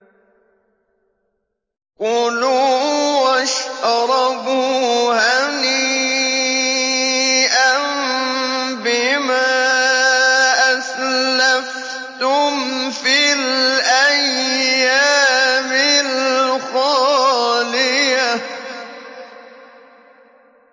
كُلُوا وَاشْرَبُوا هَنِيئًا بِمَا أَسْلَفْتُمْ فِي الْأَيَّامِ الْخَالِيَةِ